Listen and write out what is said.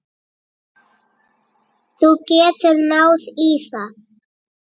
Þú getur náð í það.